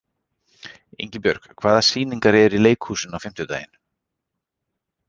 Ingibjörg, hvaða sýningar eru í leikhúsinu á fimmtudaginn?